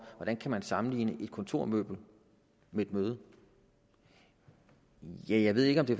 hvordan kan man sammenligne et kontormøbel med et møde ja jeg ved ikke om det